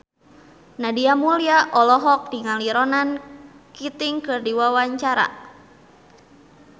Nadia Mulya olohok ningali Ronan Keating keur diwawancara